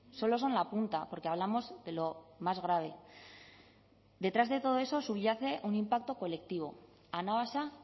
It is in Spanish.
solo son la punta porque hablamos de lo más grave detrás de todo eso subyace un impacto colectivo anabasa